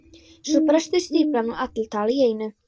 Svo brestur stíflan og allar tala í einu.